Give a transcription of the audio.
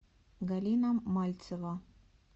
галина мальцева